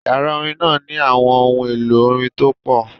Yàrá orin náà ní àwọn ohun èlò orin tó pé